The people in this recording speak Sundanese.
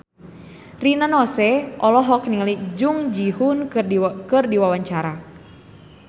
Rina Nose olohok ningali Jung Ji Hoon keur diwawancara